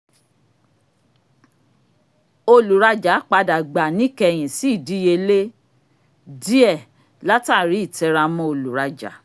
oluraja padà gbà níkẹyìn sí ìdíyelé diẹ latari ìtẹramọ́ oluraja